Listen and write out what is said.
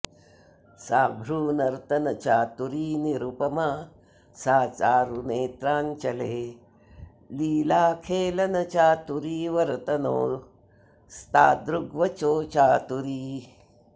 सा भ्रूनर्तनचातुरी निरुपमा सा चारुनेत्राञ्चले लीलाखेलनचातुरी वरतनोस्तादृग्वचो चातुरी